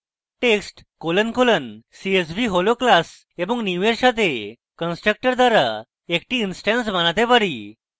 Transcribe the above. text colon colon csv হল class এবং new এর সাথে constructor দ্বারা একটি instance বানাতে পারি